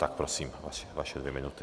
Tak prosím, vaše dvě minuty.